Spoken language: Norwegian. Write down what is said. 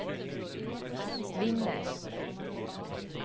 vinner